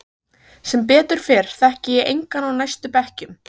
Sem betur fer þekki ég engan á næstu bekkjum.